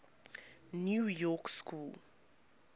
new york school